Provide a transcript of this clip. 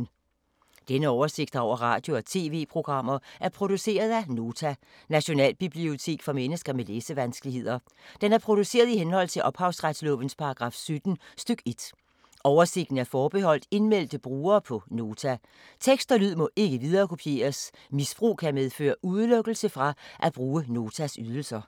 Denne oversigt over radio og TV-programmer er produceret af Nota, Nationalbibliotek for mennesker med læsevanskeligheder. Den er produceret i henhold til ophavsretslovens paragraf 17 stk. 1. Oversigten er forbeholdt indmeldte brugere på Nota. Tekst og lyd må ikke viderekopieres. Misbrug kan medføre udelukkelse fra at bruge Notas ydelser.